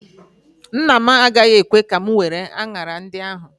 Nna m agaghị ekwe ka m were anyara ndị ahụ.